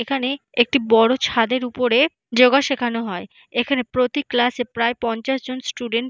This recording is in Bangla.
এখানে একটি বড় ছাদের উপরে যোগা শেখানো হয়। এখানে প্রতি ক্লাস -এ প্রায় পঞ্চাশ জন স্টুডেন্ট ।